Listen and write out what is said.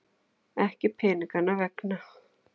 Ekki peninganna vegna.